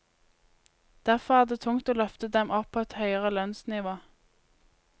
Derfor er det tungt å løfte dem opp på et høyere lønnsnivå.